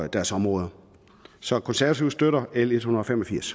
deres områder så konservative støtter l ethundrede